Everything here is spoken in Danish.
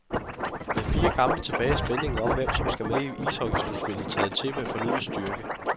Med fire kampe tilbage er spændingen om hvem, som skal med i ishockeyslutspillet taget til med fornyet styrke.